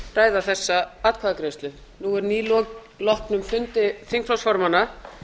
ræða þessa atkvæðagreiðslu nú er nýloknum fundi þingflokksformanna